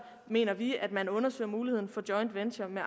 mener vi at man undersøger mulighederne for joint venture med